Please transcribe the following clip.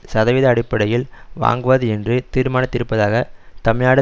சதவீத அடிப்படையில் வாங்குவது என்று தீர்மானித்திருப்பதாக தமிழ்நாடு